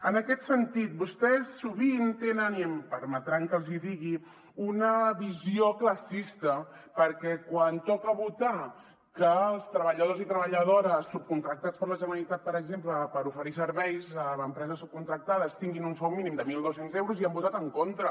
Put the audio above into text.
en aquest sentit vostès sovint tenen i em permetran que els hi digui una visió classista perquè quan toca votar que els treballadors i treballadores subcontractats per la generalitat per exemple per oferir serveis a empreses subcontractades tinguin un sou mínim de mil dos cents euros hi han votat en contra